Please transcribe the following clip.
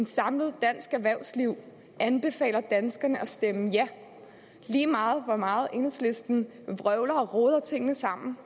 samlet dansk erhvervsliv anbefaler danskerne at stemme ja lige meget hvor meget enhedslisten vrøvler og roder tingene sammen